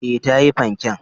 E, ta yi fanken.